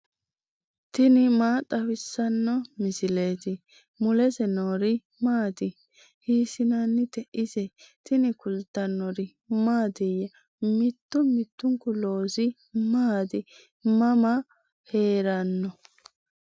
tini maa xawissanno misileeti ? mulese noori maati ? hiissinannite ise ? tini kultannori mattiya? Mittu mittunku loosi maatti? Mama heeranno?